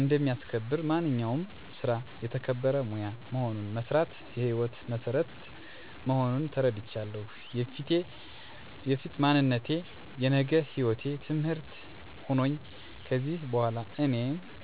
እንደሚያስከብር፣ ማንኛውም ስራ የተከበረ ሙያ መሆኑን፣ መስራት የሕይወት መሠረት መሆኑን ተረድቻለሁ። የፊት ማንነቴ የነገ ህይወቴ ትምህርት ሆኖኝ ከዚሕ በኋላ እኔን አና ቤተሠቦቼን ለማገዝ ዝግጁ እንድሆን አግዞኛል።